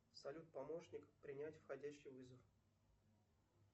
салют помощник принять входящий вызов